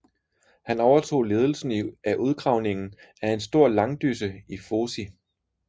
Han overtog ledelsen af udgravningen af en stor langdysse i Fosie